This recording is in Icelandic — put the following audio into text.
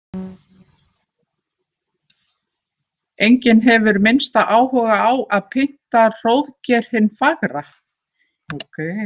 Enginn hefur minnsta áhuga á að pynta Hróðgeir hinn fagra.